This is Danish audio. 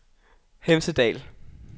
Hemsedal